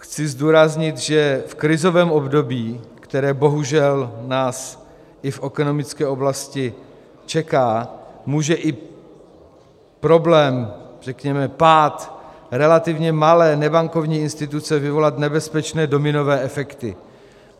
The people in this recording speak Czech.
Chci zdůraznit, že v krizovém období, které bohužel nás i v ekonomické oblasti čeká, může i problém, řekněme pád relativně malé nebankovní instituce vyvolat nebezpečné dominové efekty.